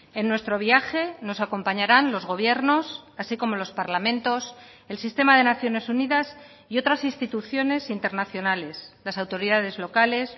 en nuestro viaje nos acompañarán los gobiernos así como los parlamentos el sistema de naciones unidas y otras instituciones internacionales las autoridades locales